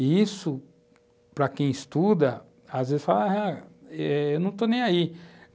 E isso, para quem estuda, às vezes fala ah, eu não estou nem aí.